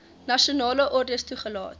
nasionale ordes toegelaat